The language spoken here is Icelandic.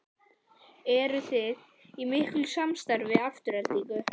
Eruði í miklu samstarfi við Aftureldingu?